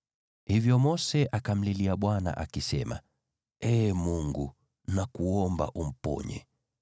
Hivyo Mose akamlilia Bwana akisema, “Ee Mungu, nakuomba umponye!”